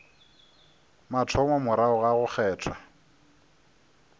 mathomo morago ga go kgethwa